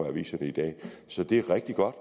i aviserne i dag så det er rigtig godt